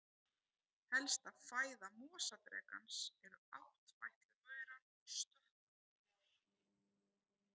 Helsta fæða mosadrekans eru áttfætlumaurar og stökkmor.